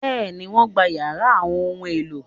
Bẹ́ẹ̀ni, wọ́n gbá yàrá àwọn ohun-èlò